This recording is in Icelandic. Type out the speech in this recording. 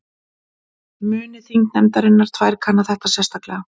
Muni þingnefndirnar tvær kanna þetta sérstaklega